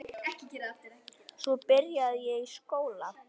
Svo byrjaði ég í skóla.